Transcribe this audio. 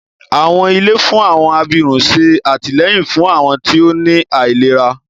Àwọn ilé fún àwọn abirùn ṣé àtìlẹ́yìn fún àwọn tí ó ní àìlera